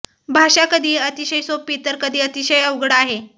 भाषा कधी अतिशय सोपी तर कधी अतिशय अवघड आहे